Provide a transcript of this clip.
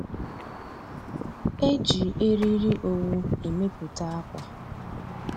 E ji eriri owu emepụta ákwà